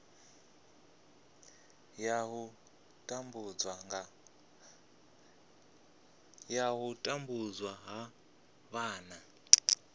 ya u tambudzwa ha vhana